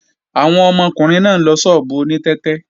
Àwọn ọmọkùnrin náà ń lọ ṣọ́ọ̀bù oní tẹ́tẹ́